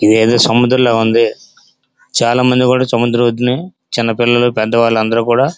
ఇదేదో సముద్రము లాగా ఉంది. చాల మంది కూడా సముద్రం ఒడ్డుని చిన్న పిల్లలు పెద్ద వాలు కూడా --